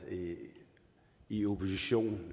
i opposition